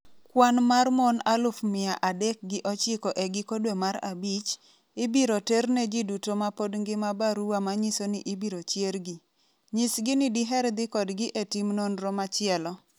Kwan mar mon aluf mia adek gi ochiko e giko dwe mar abich, ibiro ter ne ji duto ma pod ngima barua manyiso ni ibiro chiergi. Nyisgi ni diher dhi kodgi e tim nonro machielo.